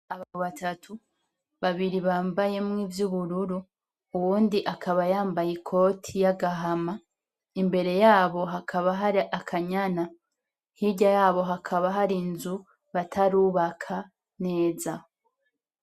Abagabo batatu, babiri bambayemwo ivy'ubururu, uwundi akaba yambaye ikoti y'agahama, imbere yabo hakaba hari akanyana, hirya yabo hakaba hari inzu batarubaka neza.